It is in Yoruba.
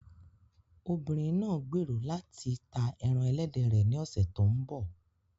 Obìnrin náà gbèrò láti ta ẹran ẹlẹ́dẹ̀ rẹ̀ ní ọ̀sẹ̀ tó ń bọ̀.